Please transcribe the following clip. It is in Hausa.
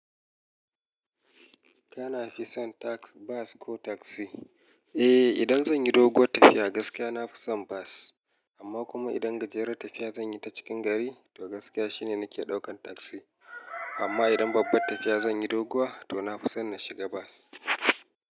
Kana fi son bus ko taksi? Eh, idan zan yi doguwar tafiya gaskiya na fi son bus. Amma kuma idan gajerer tafiya zan yi ta cikin gari, to gaskiya shine nake ɗaukan taksi. Amma idan babbar tafiya zan yi doguwa, to na fi son na shiga bas.